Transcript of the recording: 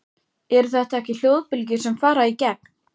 Eru þetta ekki hljóðbylgjur sem fara í gegn?